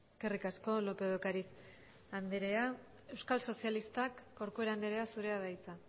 eskerrik asko lópez de ocariz andrea euskal sozialistak corcuera andrea zurea da hitza